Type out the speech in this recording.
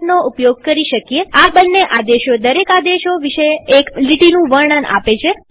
fનો ઉપયોગ કરી શકીએઆ બંને આદેશો દરેક આદેશ વિશે એક લીટીનું વર્ણન આપે છે